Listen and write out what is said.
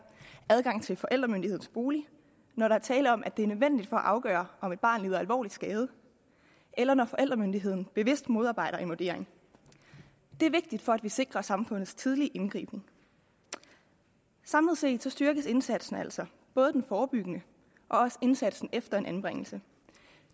adgang til forældremyndighedens bolig når der er tale om at det er nødvendigt for at afgøre om et barn lider alvorlig skade eller når forældremyndigheden bevidst modarbejder en vurdering det er vigtigt for at vi sikrer samfundets tidlige indgriben samlet set styrkes indsatsen altså både den forebyggende og også indsatsen efter en anbringelse